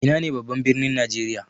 Ina ne babban birnin najeriya?